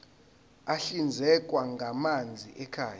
ahlinzekwa ngamanzi ekhaya